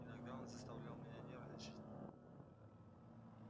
иногда он заставлял меня нервничать